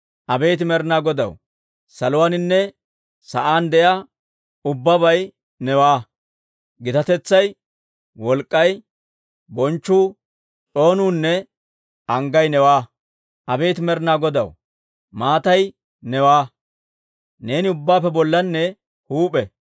Abeet Med'inaa Godaw, saluwaaninne sa'aan de'iyaa ubbabay newaa! Gitatetsay, wolk'k'ay, bonchchu, s'oonuunne anggay newaa! Abeet Med'inaa Godaw, maatay newaa; neeni ubbaappe bollanne huup'e.